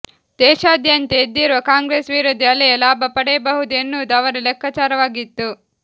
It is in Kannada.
ದೇಶಾದ್ಯಂತ ಎದ್ದಿರುವ ಕಾಂಗ್ರೆಸ್ ವಿರೋಧಿ ಅಲೆಯ ಲಾಭ ಪಡೆಯಬಹುದು ಎನ್ನುವುದು ಅವರ ಲೆಕ್ಕಾಚಾರವಾಗಿತ್ತು